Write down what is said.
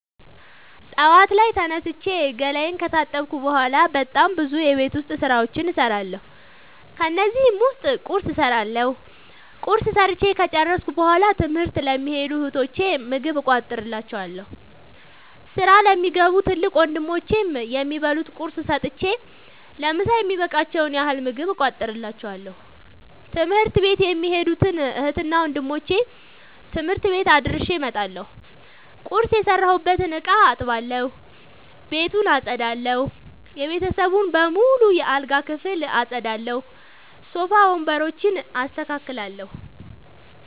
ጠዋት ላይ ተነስቼ ገላየን ከታጠብኩ በሗላ በጣም ብዙ የቤት ዉስጥ ስራዎችን እሠራለሁ። ከነዚህም ዉስጥ ቁርስ እሠራለሁ። ቁርስ ሠርቸ ከጨረሥኩ በሗላ ትምህርት ለሚኸዱ እህቶቸ ምግብ እቋጥርላቸዋለሁ። ስራ ለሚገቡ ትልቅ ወንድሞቼም የሚበሉት ቁርስ ሰጥቸ ለምሣ የሚበቃቸዉን ያህል ምግብ እቋጥርላቸዋለሁ። ትምህርት ቤት የሚኸዱትን እህትና ወንድሞቼ ትምህርት ቤት አድርሼ እመጣለሁ። ቁርስ የሰራሁበትን እቃ አጥባለሁ። ቤቱን አጠዳለሁ። የቤተሰቡን በሙሉ የአልጋ ክፍል አጠዳለሁ። ሶፋ ወንበሮችን አስተካክላለሁ።